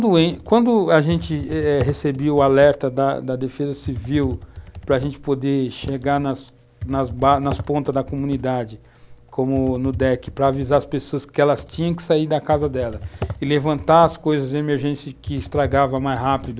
quando a gente eh recebeu o alerta da da Defesa Civil para a gente poder chegar nas pontas da comunidade, como no DEC, para avisar as pessoas que elas tinham que sair da casa dela e levantar as coisas de emergência que estragava mais rápido,